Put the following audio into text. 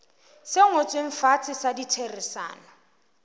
se ngotsweng fatshe sa ditherisano